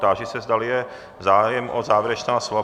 Táži se, zdali je zájem o závěrečná slova.